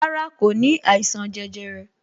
Rárá, kò ní àìsàn jẹjẹrẹ